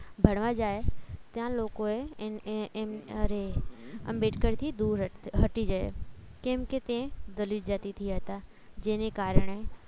ભણવા જાય ત્યાં લોકોએ એમન અરે આંબેડકર થી દૂર હટી જાય કેમ કે તે દલિત જાતિ થી હતા જેને કારણે